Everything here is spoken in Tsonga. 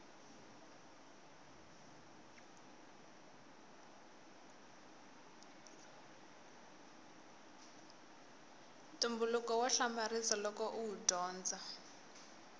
ntumbuluko wa hamarisa loko uwu dyondza